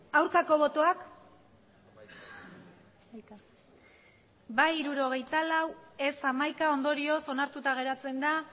aurkako botoak bai hirurogeita lau ez hamaika ondorioz onartuta geratzen da